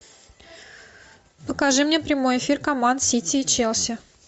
покажи мне прямой эфир команд сити и челси